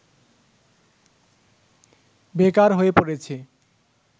বেকার হয়ে পড়েছে